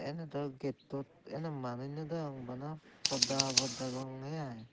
eney daw gettot eney manuj no degong bana podda habor degongey aai.